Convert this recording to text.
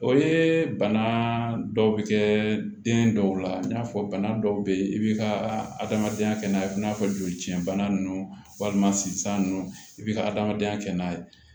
O ye bana dɔw bɛ kɛ den dɔw la n y'a fɔ bana dɔw bɛ yen i b'i ka adamadenya kɛ n'a ye i n'a fɔ jolici bana ninnu walima sinzan nunnu i be ka adamadenya kɛ n'a ye